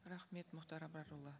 рахмет мұхтар абрарұлы